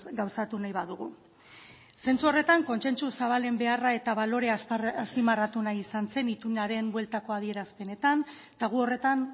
gauzatu nahi badugu zentzu horretan kontsentsu zabalen beharra eta balorea azpimarratu nahi izan zen itunaren bueltako adierazpenetan eta gu horretan